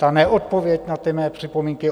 Ta neodpověď na ty mé připomínky?